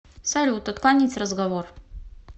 салют отклонить разговор